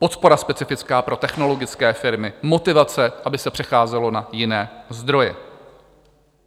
Podpora specifická pro technologické firmy, motivace, aby se přecházelo na jiné zdroje.